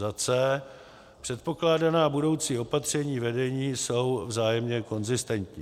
c) předpokládaná budoucí opatření vedení jsou vzájemně konzistentní;